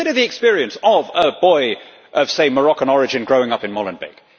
Consider the experience of a boy of, say, Moroccan origin, growing up in Molenbeek.